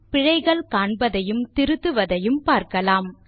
பிழைகள் காண்பதையும் திருத்துவதையும் பார்க்கலாம்